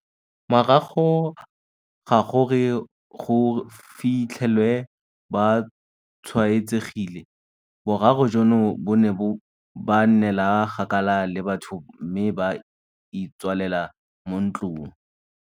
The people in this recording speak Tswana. Morago ga gore go fi tlhelwe ba tshwaetsegile, boraro jono bo ne ba nnela kgakala le batho mme ba itswalela mo ntlong.